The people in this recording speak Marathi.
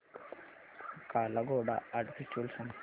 काला घोडा आर्ट फेस्टिवल सांग